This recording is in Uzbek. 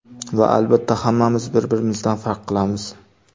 Va albatta hammamiz bir-birimizdan farq qilamiz!